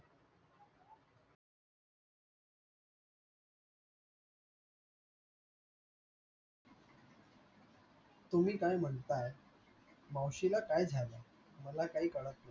तुम्ही काय म्हणताय, मावशी ला काय झाले, मला काही काळात नाही